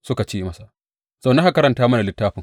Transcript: Suka ce masa, Zauna, ka karanta mana littafin.